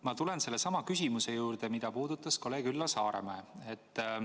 Ma tulen sellesama küsimuse juurde, mida puudutas kolleeg Üllar Saaremäe.